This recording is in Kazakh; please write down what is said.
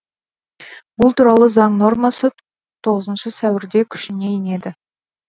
бұл туралы заң нормасы тоғызыншы сәуірде күшіне енеді